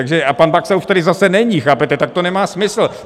A pak Baxa už tady zase není, chápete, tak to nemá smysl.